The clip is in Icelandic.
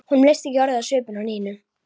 Honum leist ekki orðið á svipinn á Nínu.